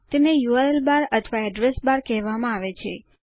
તેને URL bar અથવા address bar કહેવામાં આવે છે